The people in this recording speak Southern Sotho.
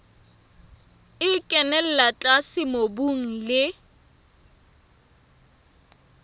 e kenella tlase mobung le